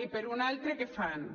i per un altre què fan